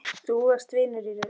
Þú varst vinur í raun.